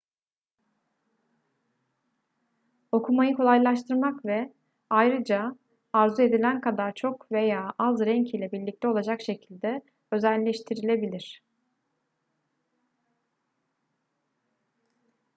okumayı kolaylaştırmak ve ayrıca arzu edilen kadar çok veya az renk ile birlikte olacak şekilde özelleştirilebilir